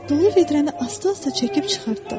Dolu vedrəni asta-asta çəkib çıxartdım.